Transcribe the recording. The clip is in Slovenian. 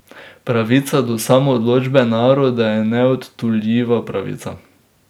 Pravica do samoodločbe naroda je neodtuljiva pravica.